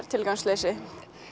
tilgangsleysi